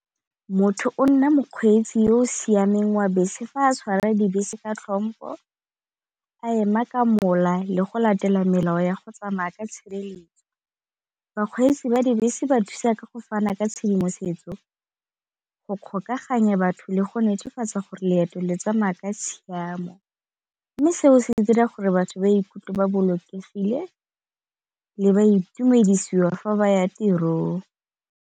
Motho o nna mokgweetsi yo o siameng wa bese fa a tshwara dibese ka tlhompo, a ema ka mola le go latela melao ya go tsamaya ka tshireletso. Bakgweetsi ba dibese ba thusa ka go fana ka tshedimosetso go kgokaganya batho le go netefatsa gore leeto le tsamaya ka tshiamo, mme seo se dira gore batho ba ikutlwe ba bolokegile le ba itumedisiwa fa ba ya tirong.